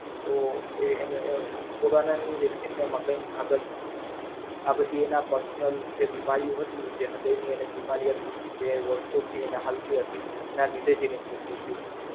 તો એ એને એ Corona ની Vaccine ના એમાં કાય ભાગ જ નથી. આ બધી એના Personal જે બીમારીઓ હતી તે હૃદય ની એની બીમારી હતી તે વર્ષો થી એન હાલતી હતી. એના લીધે જ એનું મૃત્યુ થઈ છે.